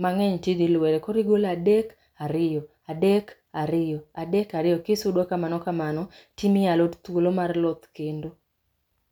mangeny tidho lwere, koro igolo adek ariyo, adek ariyo, adek ariyo, adek ariyo kisudo kamano kamano timiyo alot thuolo ma rloth kendo.